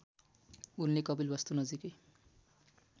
उनले कपिलवस्तु नजिकै